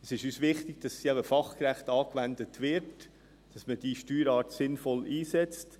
Es ist uns wichtig, dass sie fachgerecht angewendet wird, dass man diese Steuerart sinnvoll einsetzt.